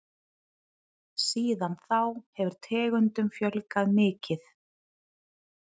Síðan þá hefur tegundum fjölgað mikið.